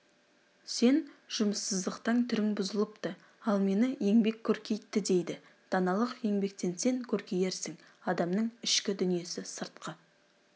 сен жұмыссыздықтан түрің бұзылыпты ал мені еңбек көркейтті дейді даналық еңбектенсен көркейерсің адамның ішкі дүниесі сыртқы